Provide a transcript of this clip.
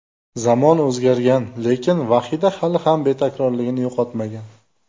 Zamon o‘zgargan, lekin Vahida hali ham betakrorligini yo‘qotmagan.